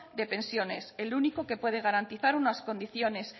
de pensiones el único que puede garantizar unas condiciones